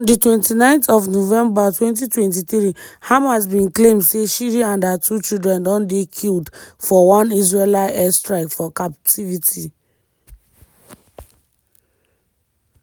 on di 29th of november 2023 hamas bin claim say shiri and her two children don dey killed for one israeli air strike for captivity.